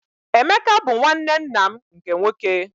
Emeka bụ nwanne nna m nke nwoke.